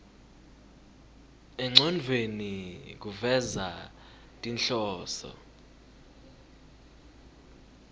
engcondvweni kufeza tinhloso